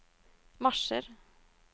marsjer